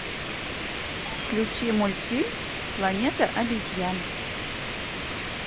включи мультфильм планета обезьян